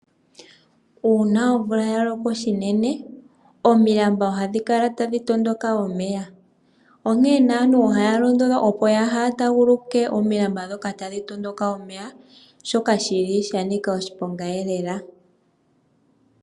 Uuna omvula ya loko shinene, omilamba ohadhi kala tadhi tondoka omeya. Onkene naantu ohaya londodhwa opo yaaha taaguluke omilamba ndhika dhi na omeya, shika sha nika oshiponga lela.